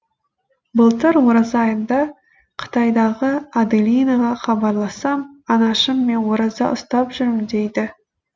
былтыр ораза айында қытайдағы аделинаға хабарлассам анашым мен ораза ұстап жүрмін дейді